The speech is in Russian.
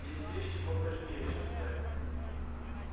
есть вещи поважнее чем секс